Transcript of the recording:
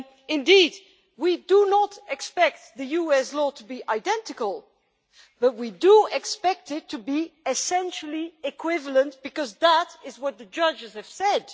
Indeed we do not expect the US law to be identical, but we do expect it to be essentially equivalent, because that is what the judges have said.